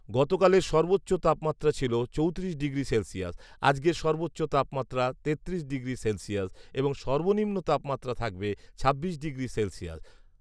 গতকালের সর্বোচ্চ তাপমাত্রা ছিল চৌত্রিশ ডিগ্রি সেলসিয়াস। আজকের সর্বোচ্চ তাপমাত্রা তেত্রিশ ডিগ্রি সেলসিয়াস এবং সর্বনিম্ন তাপমাত্রা থাকবে ছাব্বিশ ডিগ্রি সেলসিয়াস